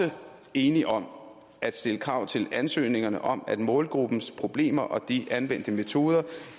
enige om at stille krav til ansøgningerne om at målgruppens problemer og de anvendte metoder